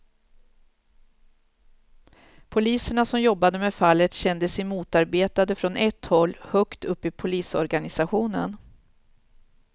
Poliserna som jobbade med fallet kände sig motarbetade från ett håll högt upp i polisorganisationen.